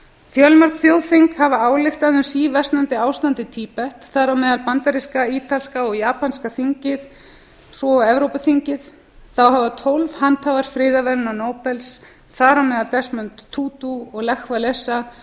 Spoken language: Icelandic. fjölmörg þjóðþing hafa ályktað um síversnandi ástand í tíbet þar á meðal bandaríska ítalska og japanska þingið svo og evrópuþingið þá hafa tólf handhafar friðarverðlauna nóbels þar á meðal desmond m tutu og lech walesa